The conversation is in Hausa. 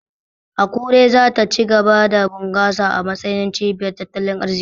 Akure za ta ci gaba da bunkasa a matsayin cibiyar tattalin arziki.